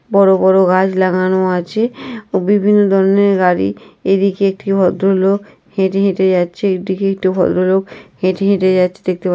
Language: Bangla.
বড় বড় গাছ লাগানো আছে। বিভিন্ন ধরনের গাড়ি। এদিকে একটি ভদ্রলোক হেঁটে হেঁটে যাচ্ছে। এদিকে একটি ভদ্রলোক হেঁটে হেঁটে যাচ্ছে দেখতে পা--